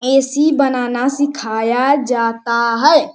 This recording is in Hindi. ए.सी बनाना सिखाया जाता है।